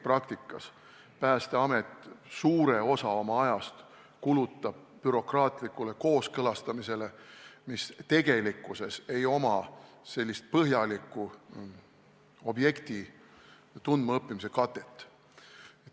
Praktikas Päästeamet suure osa oma ajast kulutab bürokraatlikule kooskõlastamisele, millel tegelikkuses objekti põhjaliku tundmaõppimise katet ei ole.